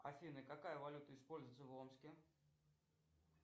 афина какая валюта используется в омске